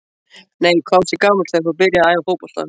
Nei Hvað varstu gamall þegar þú byrjaðir að æfa fótbolta?